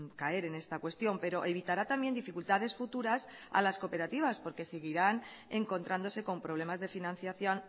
caer en esta cuestión pero evitará también dificultades futuras a las cooperativas porque seguirán encontrándose con problemas de financiación